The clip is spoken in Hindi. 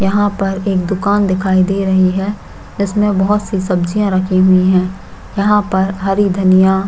यहाँ पर एक दुकान दिखाई दे रही है जिसमे बहोत सी सब्जियां रखी हुई है यहाँ पर हरी धनिया--